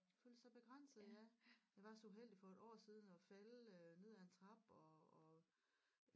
Føle sig begrænset ja jeg var så uheldig for et år siden at falde øh ned ad en trappe og og